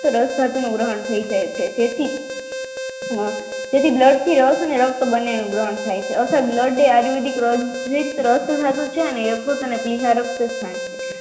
રસ ધાતુમાં ગ્રહણ થાય જાય છે જેથી તેથી blood રક્ત બનેલૂ ગ્રહણ થાય છે આથી રક્ત blood એ આર્યુવેદીક રસ